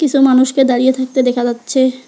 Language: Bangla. কিসু মানুষকে দাঁড়িয়ে থাকতে দেখা যাচ্চে।